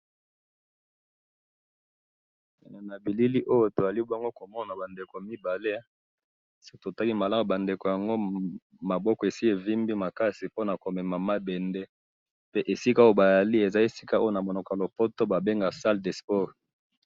Ba ndeko mibale batelemi ,ba vimbi maboko po na kosala sport pe baza na kati ya salle de sport.